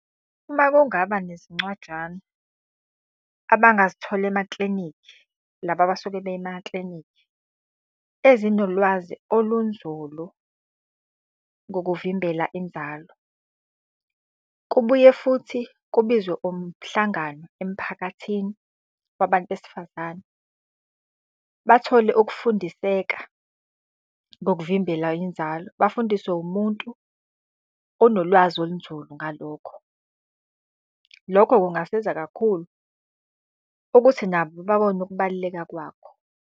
Uma kungaba nezincwajana abangazithola emaklinikhi, laba abasuke beye emaklinikhi, ezinolwazi olunzulu ngokuvimbela inzalo. Kubuye futhi kubizwe umhlangano emphakathini wabantu besifazane bathole ukufundiseka ngokuvimbela inzalo, bafundiswe wumuntu onolwazi olunzulu ngalokho. Lokho kungasiza kakhulu ukuthi nabo babone ukubaluleka kwakho.